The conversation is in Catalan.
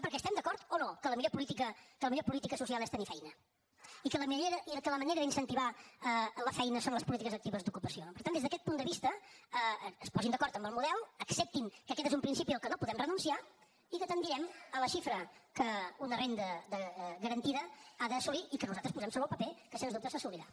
perquè estem d’acord o no que la millor política social és tenir feina i que la manera d’incentivar la feina són les polítiques actives d’ocupació per tant des d’aquest punt de vista es posin d’acord en el model acceptin que aquest és un principi a què no podem renunciar i que tendirem a la xifra que una renda garantida ha d’assolir i que nosaltres posem sobre el paper que sens dubte s’assolirà